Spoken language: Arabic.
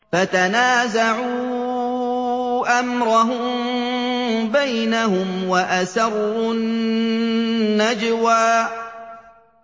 فَتَنَازَعُوا أَمْرَهُم بَيْنَهُمْ وَأَسَرُّوا النَّجْوَىٰ